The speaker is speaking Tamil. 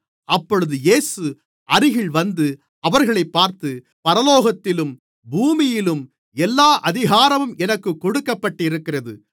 அப்பொழுது இயேசு அருகில் வந்து அவர்களைப் பார்த்து பரலோகத்திலும் பூமியிலும் எல்லா அதிகாரமும் எனக்குக் கொடுக்கப்பட்டிருக்கிறது